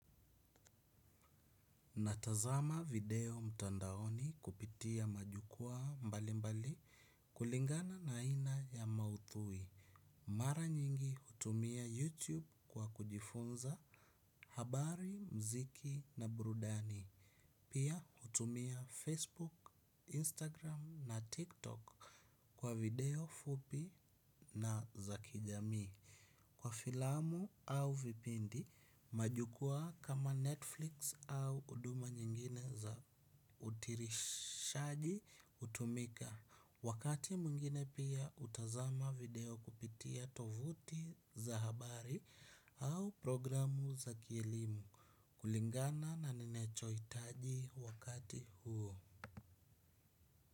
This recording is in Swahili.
Natazama video mtandaoni kupitia majukwaa mbalimbali. Kulingana na aina ya mauthui mara nyingi hutumia youtube kwa kujifunza habari mziki na burudani. Pia hutumia facebook instagram na tiktok. Kwa video fupi na za kijamii kwa filamu au vipindi majukwaa kama netflix au uduma nyingine za utirishaji utumika. Wakati mwingine pia utazama video kupitia tovuti za habari. Au programu za kielimu kulingana na ninachoitaji wakati huo.